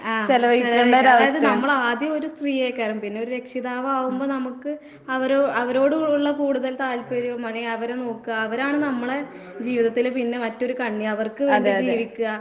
ആഹ് ചെലവഴിക്കണം. അതായത് നമ്മളാദ്യം ഒരു സ്ത്രീയാകാരം. പിന്നെയൊരു രക്ഷിതാവാകുമ്പ നമക്ക് അവരോ അവരോട് ഉള്ള കൂടുതൽ താല്പര്യവും അല്ലെങ്കി അവരെ നോക്ക്ക, അവരാണ് നമ്മളെ ജീവിതത്തില് പിന്നെ മറ്റൊര് കണ്ണി. അവർക്ക് വേണ്ടി ജീവിക്ക്കാ.